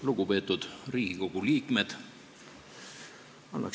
Lugupeetud Riigikogu liikmed!